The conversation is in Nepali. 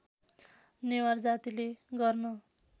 नेवार जातिले गर्न